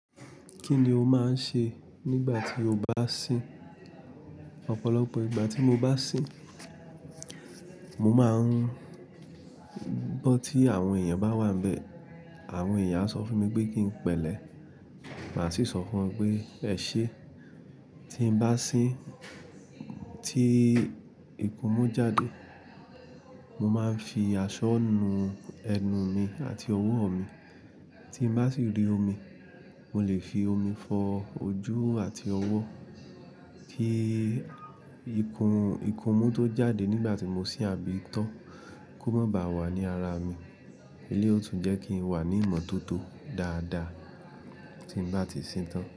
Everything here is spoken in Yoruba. Kí ni o máa ń ṣe nígbà tí o bá sìn? Ọ̀pọ̀lọpọ̀ ìgbà tí mo bá sìn, mo máa ń bọ́ tí àwọn èèyàn bá wà níbẹ̀. Àwọn ẹ̀yàn á sọ fún mi pé kí n pẹlẹ, mà á sì sọ fún wọn pé ẹ ṣé. Tí n bá sìn, tí ìkún mú jáde, mo máa ń fi aṣọ nu ẹnu mi àti ọwọ́ mi. Tí n bá sì rí omi, mo lè fi omi fọ ojú àti ọwọ́, kí ìkún, ìkún mú tó jáde nígbà tí mo sìn àbí itọ́ kó má ba wà ní ara mi. Eléyìí ó tún jẹ́ kí n wà ní ìmọ́tótó dáadáa tí n bá ti sìn tán.